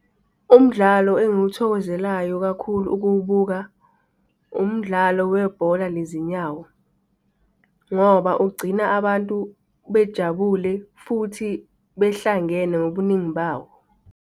Umdlalo engiwuthokozelayo kakhulu ukuwubuka, umdlalo webhola lezinyawo. Ngoba ugcina abantu bejabule futhi behlangene ngobuningi bawo.